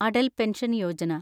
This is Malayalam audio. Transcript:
അടൽ പെൻഷൻ യോജന